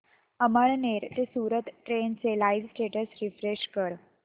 अमळनेर ते सूरत ट्रेन चे live status refresh कर